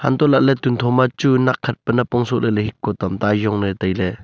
untoh lahley tuntho machu nakkhat napong sohley hiko tamta ayongley tailey.